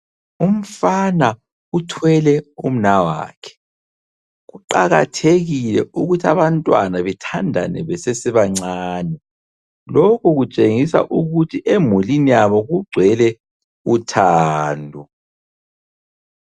Umfana uthwele umnawakhe. Kuqakathekile ukuthi abantwana bethandane besesebancane. Lokhu kutshengisa ukuthi emulini yabo kugcwele uthando.